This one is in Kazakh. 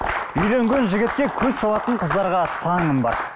үйленген жігітке көз салатын қыздарға таңым бар